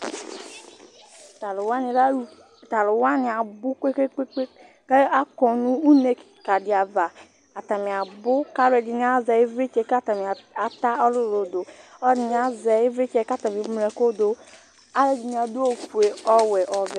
T'alʋ wani lɛ aluf, t'alʋ wani abʋ kpekpekpe k'akɔ nʋ une kika di ava Atani abʋ k'ɛdini azɛ ivlitsɛ k'atani ata ɔlʋlʋ dʋ, ɔlʋ ɛdini azɛ ivlitsɛ k'atani eŋlo ɛkʋ dʋ Alʋ ɛdini adʋ ofue, ɔwɛ ɔvɛ